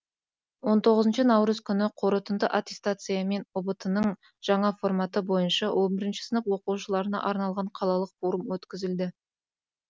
он тоғызыншы наурыз күні қорытынды аттестация мен ұбт ның жаңа форматы бойынша он бірінші сынып оқушыларына арналған қалалық форум өткізілді